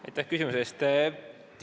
Aitäh küsimuse eest!